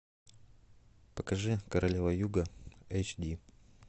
покажи королева юга эйч ди